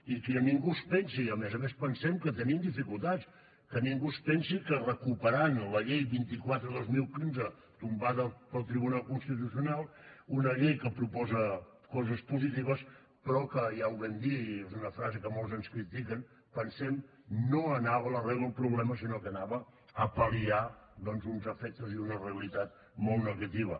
i que ningú es pensi a més a més pensem que tenim dificultats que ningú es pensi que recuperant la llei vint quatre dos mil quinze tombada pel tribunal constitucional una llei que proposa coses positives però que ja ho vam dir és una frase que molts ens critiquen pensem no anava a l’arrel del problema sinó que anava a pal·liar doncs uns efectes i una realitat molt negativa